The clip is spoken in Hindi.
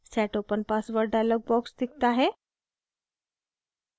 set open password dialog box दिखता है